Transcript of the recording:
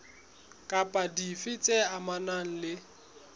kapa dife tse amanang le